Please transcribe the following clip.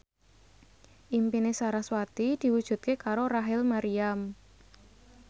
impine sarasvati diwujudke karo Rachel Maryam